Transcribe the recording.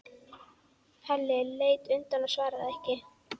Halli leit undan og svaraði ekki.